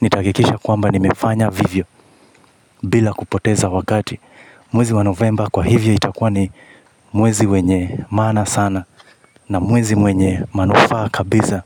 nitahakikisha kwamba nimefanya vivyo bila kupoteza wakati mwezi wa novemba kwa hivyo itakuwa ni mwezi wenye maana sana. Na mwezi mwenye manufaa kabisa.